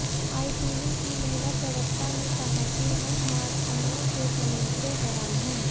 ITV की महिला प्रवक्ता ने कहा कि हम मार्क अनवर के कमेंट्स से हैरान हैं